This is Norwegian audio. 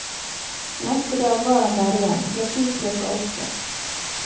Neste dag var han der igjen, presis klokka åtte.